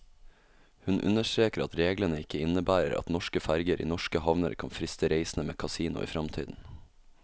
Hun understreker at reglene ikke innebærer at norske ferger i norske havner kan friste reisende med kasino i fremtiden.